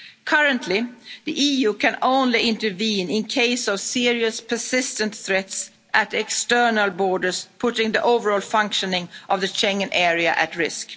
borders. Currently, the EU can only intervene in the case of serious persistent threats at external borders, putting the overall functioning of the Schengen area